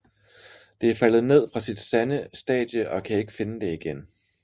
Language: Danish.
Det er faldet ned fra sit sande stade og kan ikke finde det igen